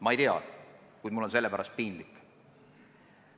Ma ei tea, kuid mul on selle pärast piinlik.